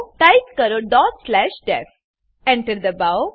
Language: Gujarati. ટાઈપ કરો ડોટ સ્લેશ ડીઇએફ Enter દબાવો